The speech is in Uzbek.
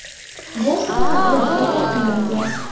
Bosniya haqida juda ko‘p kuylangan.